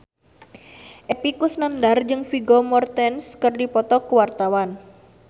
Epy Kusnandar jeung Vigo Mortensen keur dipoto ku wartawan